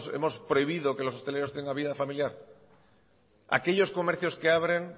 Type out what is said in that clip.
hemos prohibido que los hosteleros tengan vida familiar aquellos comercios que abren